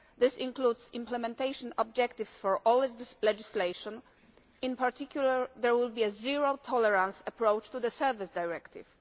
This includes implementation objectives for all legislation in particular there will be a zero tolerance approach to the Service Directive.